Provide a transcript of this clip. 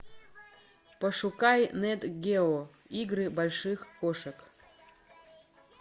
пошукай нат гео игры больших кошек